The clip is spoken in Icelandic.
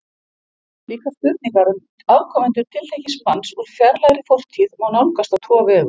Slíkar spurningar um afkomendur tiltekins manns úr fjarlægri fortíð má nálgast á tvo vegu.